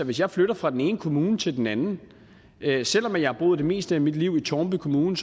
hvis jeg flytter fra den ene kommune til den anden selv om jeg har boet det meste af mit liv i tårnby kommune